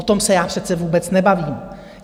O tom se já přece vůbec nebavím.